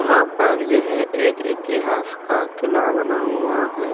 यहाँ पर यह इतिहास का किला बना हुआ है।